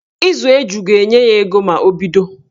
Ịzụ eju ga-enye ya ego ma o bido